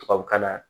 Tubabukalan